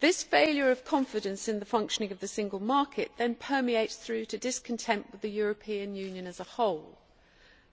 This failure of confidence in the functioning of the single market then permeates through to discontent with the European Union as a whole.